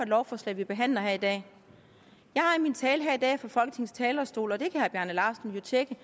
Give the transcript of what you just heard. lovforslag vi behandler her i dag jeg har i min tale her i dag fra folketingets talerstol og det kan herre bjarne laustsen jo tjekke